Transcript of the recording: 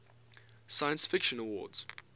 science fiction awards